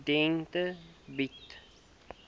studente bied